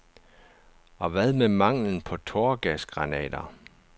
Og hvad med manglen på tåregasgranater?